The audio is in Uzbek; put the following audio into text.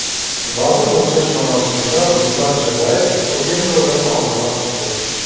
Vazn o‘lchash marosimida Ruslan Chagayev Okendodan og‘irroq chiqdi .